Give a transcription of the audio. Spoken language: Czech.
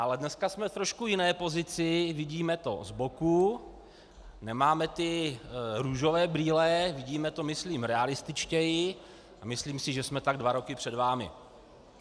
Ale dneska jsme v trošku jiné pozici, vidíme to z boku, nemáme ty růžové brýle, vidíme to myslím realističtěji a myslím si, že jsme tak dva roky před vámi.